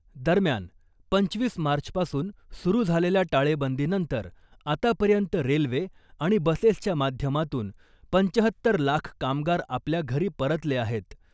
दरम्यान , पंचवीस मार्चपासून सुरू झालेल्या टाळेबंदीनंतर आतापर्यंत रेल्वे आणि बसेसच्या माध्यमातून पंचाहत्तर लाख कामगार आपल्या घरी परतले आहेत .